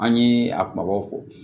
An ye a kumabaw fɔ